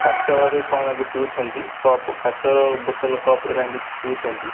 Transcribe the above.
କାଚରେ କଣ ଲାଗି ପିଉଛନ୍ତି କପ୍ କାଚର ବୋତଲ କପ୍ ରେ କାଇଁ କିଛି ପିଉଛନ୍ତି।